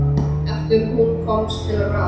Eftir að hún komst aftur til ráðs.